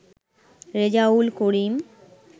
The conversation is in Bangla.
রেজাউল করিম